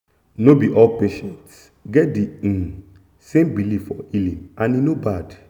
no be all patients get the um same belief for healing and e no bad